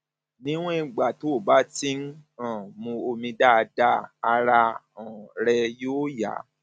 níwọn ìgbà tó bá ti ń um mu omi dáadáa ara um rẹ yóò yá